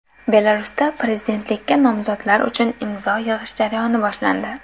Belarusda prezidentlikka nomzodlar uchun imzo yig‘ish jarayoni boshlandi.